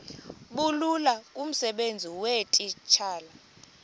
bulula kumsebenzi weetitshala